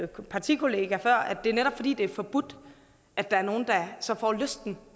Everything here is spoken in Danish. partikollega før at det netop er fordi det er forbudt at der er nogle der så får lysten